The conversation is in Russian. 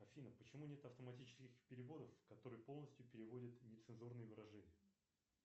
афина почему нет автоматических переводов которые полностью переводят нецензурные выражения